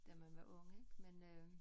Da man var ung ik men øh